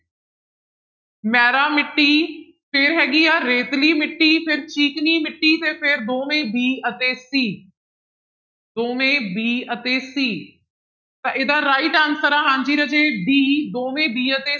ਮੈਰਾ ਮਿੱਟੀ ਫਿਰ ਹੈਗੀ ਆ ਰੇਤਲੀ ਮਿੱਟੀ ਫਿਰ ਚੀਕਣੀ ਮਿੱਟੀ ਤੇ ਫਿਰ ਦੋਵੇਂ b ਅਤੇ c ਦੋਵੇਂ b ਅਤੇ c ਤਾਂ ਇਹਦਾ right answer ਆ ਹਾਂਜੀ ਰਾਜੇ d ਦੋਵੇਂ b ਅਤੇ